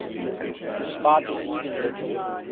despite receiving little